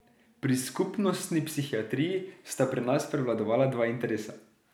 Pri skupnostni psihiatriji sta pri nas prevladovala dva interesa.